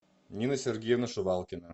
нина сергеевна шувалкина